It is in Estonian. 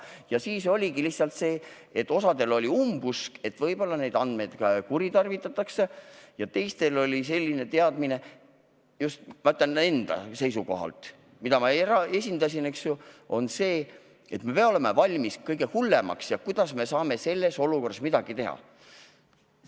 Ja siis oligi lihtsalt sedasi, et ühtedel oli umbusk, et võib-olla neid andmeid kuritarvitatakse, ja teistel oli selline teadmine – ma ütlen just enda seisukohalt, mida mina esindasin –, et me peame olema valmis kõige hullemaks ja kuidas me saame selles olukorras midagi teha.